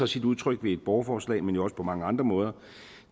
sit udtryk i borgerforslag men jo også på mange andre måder